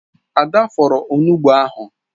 Ada fọọrọ onugbụ ahụ.